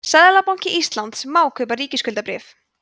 seðlabanki íslands má kaupa ríkisskuldabréf